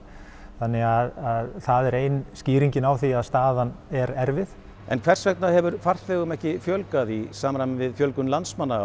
þannig að það er ein skýringin á því að staðan er erfið en hvers vegna hefur farþegum ekki fjölgað í samræmi við fjölgun landsmanna